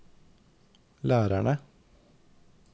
lærerne